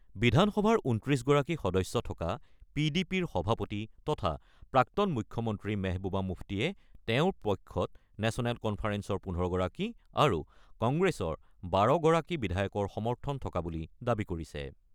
বিধানসভাৰ ২৯ গৰাকী সদস্য থকা পি ডি পিৰ সভাপতি তথা প্ৰাক্তন মুখ্যমন্ত্ৰী মেহবুবা মুফতিয়ে তেওঁৰ পক্ষত নেচনেল কনফাৰেন্সৰ ১৫ গৰাকী আৰু কংগ্ৰেছৰ ১২ গৰাকী বিধায়কৰ সমৰ্থন থকা বুলি দাবী কৰিছে।